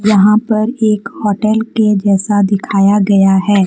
यहां पर एक होटल के जैसा दिखाया गया है।